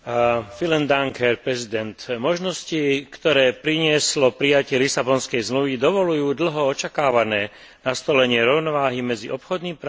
Možnosti, ktoré prinieslo prijatie Lisabonskej zmluvy, dovoľujú dlho očakávané nastolenie rovnováhy medzi obchodným právom a ľudskými právami.